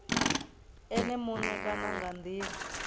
ene muṋe kana nga ndila